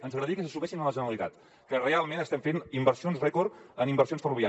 ens agradaria que se sumessin a la generalitat que realment estem fent inversions rècord en inversions ferroviàries